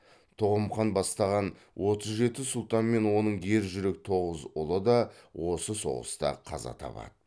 тоғым хан бастаған отыз жеті сұлтан мен оның ержүрек тоғыз ұлы да осы соғыста қаза табады